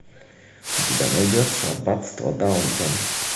у тебя найдется аббатство даунтон